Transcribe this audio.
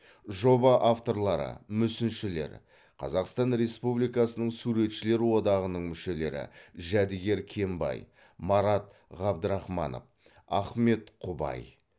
жоба авторлары мүсіншілер қазақстан республикасының суретшілер одағының мүшелері жәдігер кенбай марат ғабдырахманов ахмет құбай